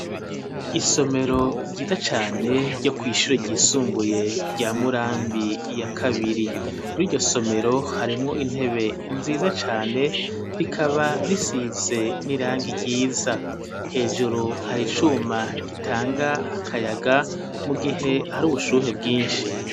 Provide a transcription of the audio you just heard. Isomero ryiza cane ryo kwi shure ryisumbuye rya murambi ya kabiri muri iryo somero harimwo intebe nziza cyane rikaba risize n'irangi ryiza hejuru hari icuma gitanga akayaga mu gihe hari ubushuhe bwinshi.